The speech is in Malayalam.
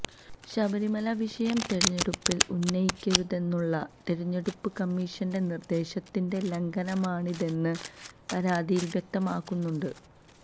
ശബരിമല വിഷയം തെരഞ്ഞെടുപ്പിൽ ഉന്നയിക്കരുതെന്നുള്ള തെരഞ്ഞെടുപ്പ് കമ്മീഷന്റെ നിർദ്ദേശത്തിന്റെ ലംഘനമാണിതെന്ന് പരാതിയിൽ വ്യക്തമാക്കുന്നുണ്ട്